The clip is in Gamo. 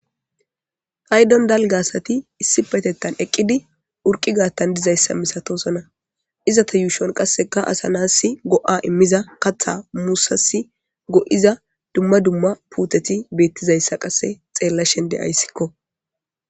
Paydon dalga asati issipetetan eqidi urqi gaathan dizaysa misatosona izeta yuushon kaseka asa na'asi go'a imiza katha musasi go'iza duma duma puuteti beetizaysa kase xeelashen de'aysiko.